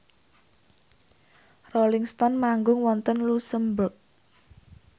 Rolling Stone manggung wonten luxemburg